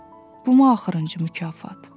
Bumu axırıncı mükafat?